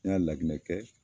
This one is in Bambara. N y'a laginɛ kɛ